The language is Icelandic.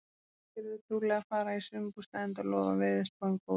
Margir eru trúlega að fara í sumarbústað enda lofar veðurspáin góðu.